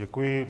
Děkuji.